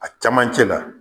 A camancɛ la